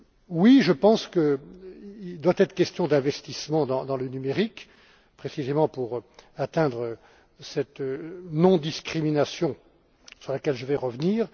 Oui, je pense qu'il doit être question d'investissements dans le numérique, précisément pour parvenir à cette non discrimination, sur laquelle je vais revenir.